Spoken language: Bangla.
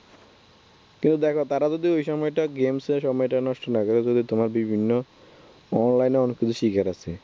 কিন্তু দেখো তারা যদি ওই সময়টা game সে সময়টা নষ্ট না করে যদি তোমার বিভিন্ন Online এ অনেক কিছু শেখার আছে।